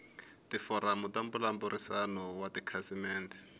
tiforamu ta mbulavurisano wa tikhasimende